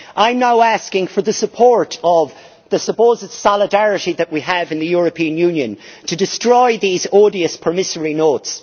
I am now asking for the support of the supposed solidarity that we have in the European Union to destroy these odious promissory notes.